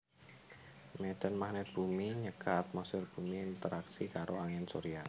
Médhan magnèt bumi nyegah atmosfèr bumi interaksi karo angin surya